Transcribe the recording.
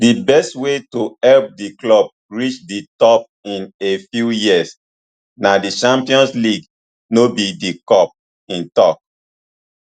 di best way to help di club reach di top in a few years na di champions league no be di cup im tok